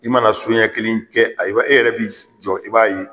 I mana so ɲɛ kelen kɛ ayiwa, e yɛrɛ bi jɔ i b'a ye